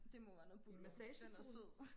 det må være noget buller den er sød